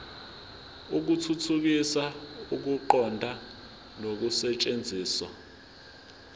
ukuthuthukisa ukuqonda nokusetshenziswa